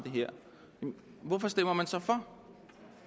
hvorfor stemmer man så for